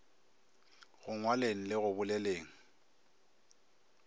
go ngwaleng le go boleleng